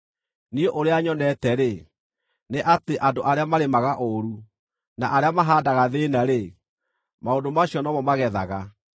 Niĩ ũrĩa nyonete-rĩ, nĩ atĩ andũ arĩa marĩmaga ũũru, na arĩa mahaandaga thĩĩna-rĩ, maũndũ macio no mo magethaga.